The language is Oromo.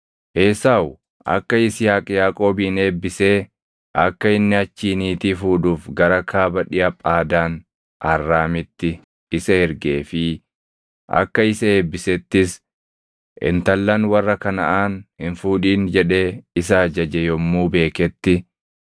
Esaawu akka Yisihaaq Yaaqoobin eebbisee akka inni achii niitii fuudhuuf gara kaaba dhiʼa Phaadaan Arraamitti isa ergee fi akka isa eebbisettis “Intallan warra Kanaʼaan hin fuudhin” jedhee isa ajaje yommuu beeketti;